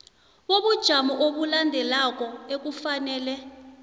bobujamo obulandelako ekufanele